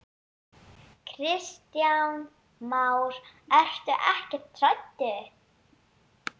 Kristján Már: Ertu ekkert hrædd?